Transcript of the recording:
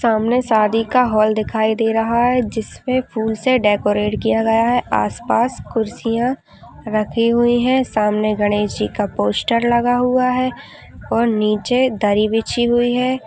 सामने शादी का हॉल दिखाई दे रहा है जिस पे फूल से डेकोरेट किया गया है आसपास कुर्सियां रखी हुई है सामने गणेश जी का पोस्टर लगा हुआ है और नीचे दरी बिछी हुई है।